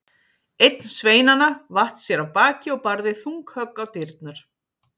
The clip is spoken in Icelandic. Einn sveinanna vatt sér af baki og barði þung högg á dyrnar.